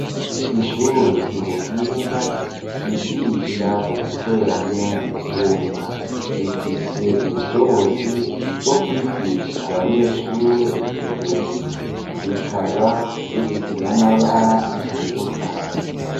ishure ryubuhinga ryigisha uguteranya ivyuma rifise ubushobozi bwo kwigisha abanyeshure igihumbi, rikaba rifise n'amabara atandukanye.